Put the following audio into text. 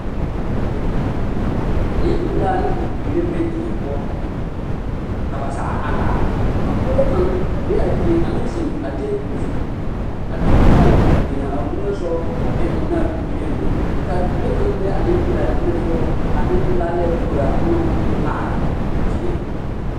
Nempelaa ne bibiiri la be die poɔ ka ba zaa a laara ka pɔge kaŋ a be a dieŋ a meŋ zeŋ a tebol zu a de o foon a beŋ o niŋesogɔ a be o ne a bibiiri naŋ be kaa bibile kaŋ be a nempelaa niŋesogɔ kaa nempelaa leɛ koraa a onoŋ koo laara a dieŋ.